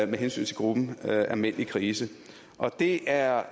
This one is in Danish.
med hensyn til gruppen af mænd i krise det er